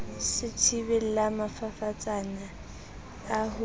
se thibelang mafafatsane a ko